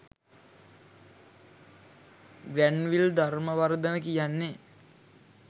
Granville Dharmawardena කියන්නේ